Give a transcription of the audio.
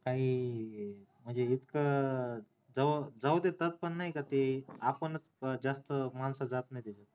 नाही म्हणजे इतकं जाऊ देतात पण नाही का ते आपण जास्त मानस जात नाही तिथं